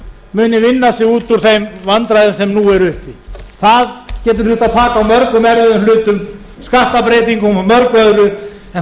muni vinna sig út úr þeim vandræðum sem nú eru uppi það getur þurft að taka á mörgum erfiðum hlutum skattbreytingum og mörgu öðru en þá